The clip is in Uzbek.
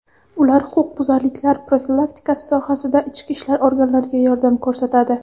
Ular huquqbuzarliklar profilaktikasi sohasida ichki ishlar organlariga yordam ko‘rsatadi.